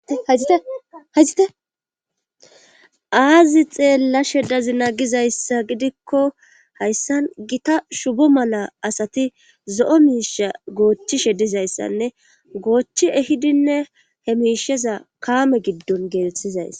Hayzite aazi xeella she dazina gizayssa gidikko hayssan gita shubo mala asati zo7o miisha goochchishe dizayssanne goochi ehidinne he miisheza kaame giddon geeteththizayss.